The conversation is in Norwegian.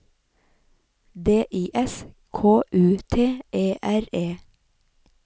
D I S K U T E R E